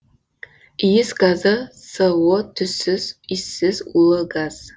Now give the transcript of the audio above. иіс газы со түссіз иіссіз улы газ